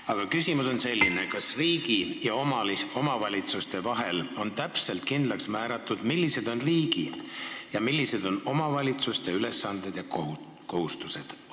Aga küsimus on selline: kas riigi ja omavalitsuste vahel on täpselt kindlaks määratud, millised on riigi ja millised on omavalitsuste ülesanded ja kohustused?